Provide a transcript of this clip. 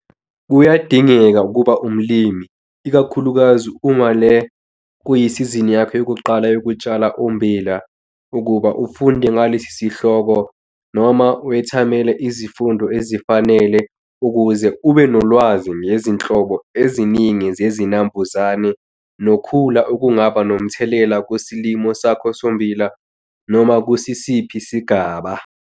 Kuyadingeka ukuba umlimi, ikakhulukazi uma le kuyisizini yakho yokuqala yokutshala ummbila, ukuba ufunde ngalesihloko noma wethamele izifundo ezifanele ukuze ube nolwazi ngezinhlobo eziningi zezinambuzane nokhula okungaba nomthelela kusilimo sakho sommbila noma kukusiphi isigaba.